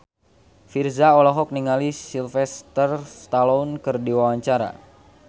Virzha olohok ningali Sylvester Stallone keur diwawancara